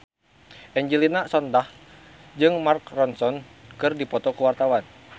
Angelina Sondakh jeung Mark Ronson keur dipoto ku wartawan